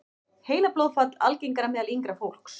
Heilablóðfall algengara meðal yngra fólks